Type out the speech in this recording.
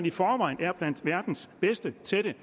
i forvejen er blandt verdens bedste til det